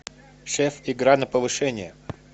шеф игра на повышение